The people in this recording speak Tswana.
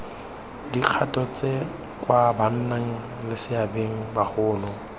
dikgato tse kwa bannaleseabeng bagolo